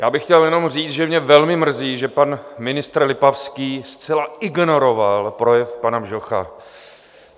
Já bych chtěl jenom říct, že mě velmi mrzí, že pan ministr Lipavský zcela ignoroval projev pana Bžocha.